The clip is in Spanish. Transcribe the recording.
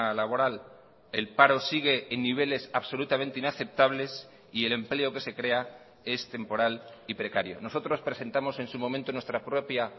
laboral el paro sigue en niveles absolutamente inaceptables y el empleo que se crea es temporal y precario nosotros presentamos en su momento nuestra propia